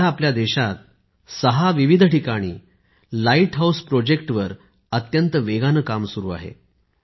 सध्या देशात सहा विविध ठिकाणी लाईट हाऊस प्रकल्पांवर अत्यंत वेगाने काम सुरु आहे